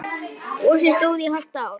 Gosið stóð í hálft ár.